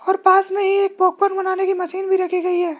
और पास में ही एक पॉपकोन बनाने की मशीन भी रखी गई है।